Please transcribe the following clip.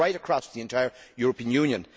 It goes right across the entire European Union.